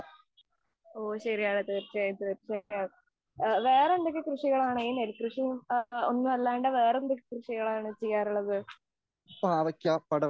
ഓ ശെരി, അതെ തീർച്ചയായും തീർച്ചയായും, വേറെ എന്തൊക്കെ കൃഷികളാണ് ഈ നെൽകൃഷി അല്ലാതെ വേറെ എന്തൊക്കെ കൃഷികളാണ് ചെയ്യാറുള്ളത്?